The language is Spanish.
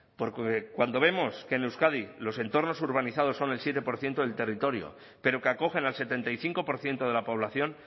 porque cuando vemos que en euskadi los entornos urbanizados son el siete por ciento del territorio pero que acogen al setenta y cinco por ciento de la población